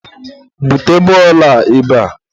bute bọọlụ a ebea!